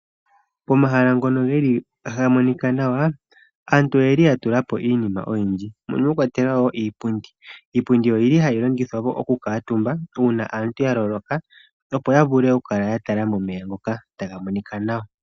Pomahala ngono geli taga monika nawa aantu oyeli yatulapo iinima oyindji mono mwakwatelwa woo iipundi. Iipundi oyili hayi longithwa okukuutumbako uuna aantu yaloloka opo yavule okukala yatala momeya ngoka taga monika nawa.